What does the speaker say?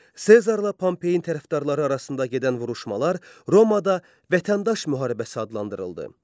Sezarla Pompeyin tərəfdarları arasında gedən vuruşmalar Romada vətəndaş müharibəsi adlandırıldı.